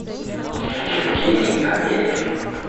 евгений амелин